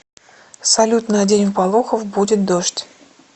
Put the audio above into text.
салют на день в болохов будет дождь